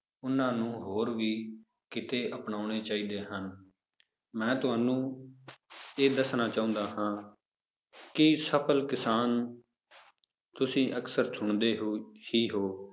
ਉਹਨਾਂ ਨੂੰ ਹੋਰ ਵੀ ਕਿੱਤੇ ਅਪਨਾਉਣੇ ਚਾਹੀਦੇ ਹਨ, ਮੈਂ ਤੁਹਾਨੂੰ ਇਹ ਦੱਸਣਾ ਚਾਹੁੰਦਾ ਹਾਂ ਕਿ ਸਫ਼ਲ ਕਿਸਾਨ ਨੂੰ ਤੁਸੀਂ ਅਕਸਰ ਸੁਣਦੇ ਹੋ ਹੀ ਹੋ,